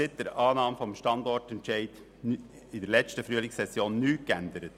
Seit der Annahme des Standortentscheids in der Frühlingssession hat sich daran nichts geändert.